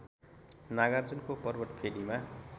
नागार्जुनको पर्वत फेदीमा